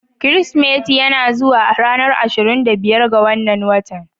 Kirsimeti yana zuwa a ranar ashirin da biyar ga wannan watan.